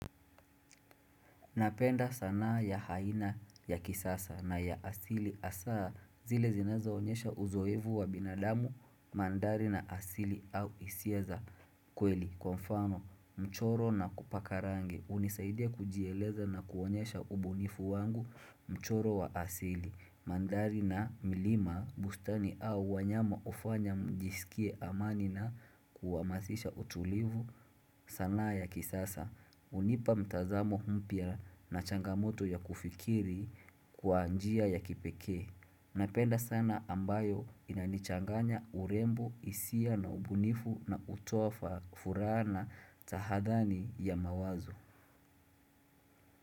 Napenda sanaa ya aina ya kisasa na ya asili hasa zile zinaeza onyesha uzoevu wa binadamu mandhari na asili au hisia za kweli. Kwa mfano mchoro na kupaka rangi, hunisaide kujieleza na kuonyesha ubunifu wangu, mchoro wa asili mandhari na milima, bustani au wanyama hufanya nijisikie amani na kuhamasisha utulivu sanaa ya kisasa. Hunipa mtazamo mpya na changamoto ya kufikiri kwa njia ya kipekee. Napenda sana ambayo inanichanganya urembo, hisia na ubunifu na kutoa furaha na tahadhari ya mawazo.